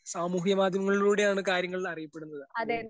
സമൂഹ മാധ്യമങ്ങളിലൂടെയാണ് കാര്യങ്ങൾ അറിയപ്പെടുന്നത്. അപ്പോ